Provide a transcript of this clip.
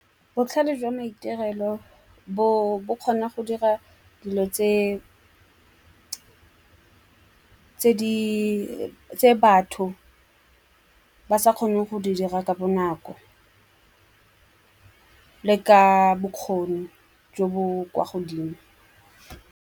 Botlhale jwa maitirelo bo kgona go dira dilo tse batho ba sa kgone go di dira ka bonako le ka bokgoni jo bo kwa godimo.